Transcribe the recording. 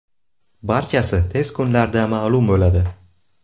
Barchasi tez kunlarda ma’lum bo‘ladi.